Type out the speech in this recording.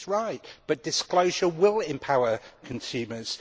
She is right, but disclosure will empower consumers.